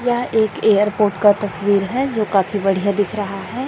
यह एक एयरपोर्ट का तस्वीर है जो काफी बढ़िया दिख रहा है।